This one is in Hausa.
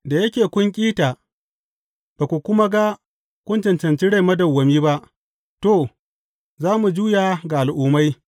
Da yake kun ƙi ta ba ku kuma ga kun cancanci rai madawwami ba, to, za mu juya ga Al’ummai.